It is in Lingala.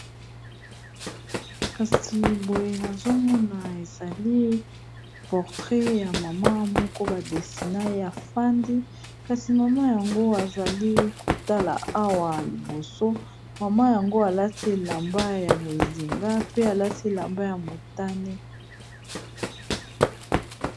kasi boye nazomona ezali portret ya mama moko badestina ya fandi kasi mama yango azali kotala awa liboso mama yango alati elamba ya bozinga pe alati elamba ya motane